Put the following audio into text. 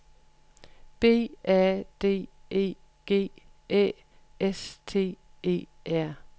B A D E G Æ S T E R